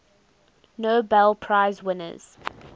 nobel prize winners